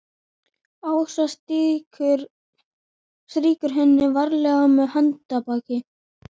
Ása strýkur henni varlega með handarbakinu.